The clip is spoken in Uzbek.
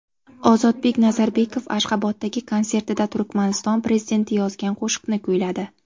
Ozodbek Nazarbekov Ashxoboddagi konsertida Turkmaniston prezidenti yozgan qo‘shiqni kuyladi.